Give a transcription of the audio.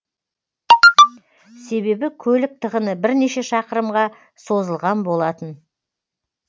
себебі көлік тығыны бірнеше шақырымға созылған болатын